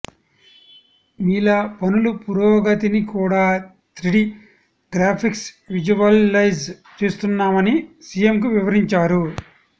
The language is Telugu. మీల పనుల పురోగ తిని కూడా త్రిడి గ్రాఫిక్స్ విజువలైజ్ చేస్తున్నా మని సిఎంకు వివరించారు